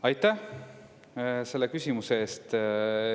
Aitäh selle küsimuse eest!